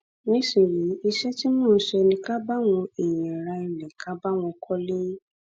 nísìnyìí iṣẹ tí mò ń ṣe ni ká bá àwọn èèyàn ra ilé ká bá wọn kọlé